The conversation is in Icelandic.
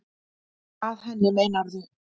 Að henni, meinarðu?